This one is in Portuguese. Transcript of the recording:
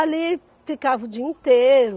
Ali ficava o dia inteiro.